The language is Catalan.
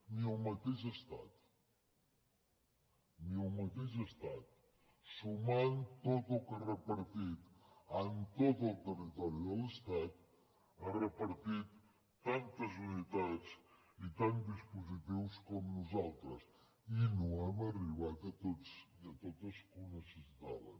ni el mateix estat sumant tot el que ha repartit en tot el territori de l’estat ha repartit tantes unitats i tants dispositius com nosaltres i no hem arribat a tots i a totes que ho necessitaven